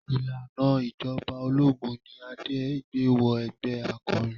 Ìlànà ìjọba ológun ni Adé gbé wọ ẹgbẹ́ akọrin.